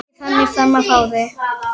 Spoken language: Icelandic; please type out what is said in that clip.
Ekkert þannig framan af ári.